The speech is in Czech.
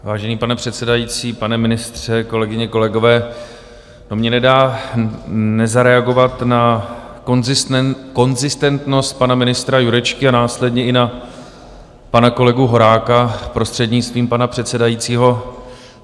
Vážený pane předsedající, pane ministře, kolegyně, kolegové, mně to nedá nezareagovat na konzistentnost pana ministra Jurečky a následně i na pana kolegu Horáka, prostřednictvím pana předsedajícího.